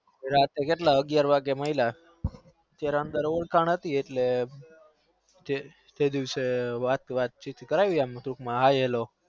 રાતે અગ્યાર વાગે મળ્યા ત્યારે અંદર ઓર્ખાણ હતી તે દિવસે વાત ચિત કરાવી ટૂંક માં hi hello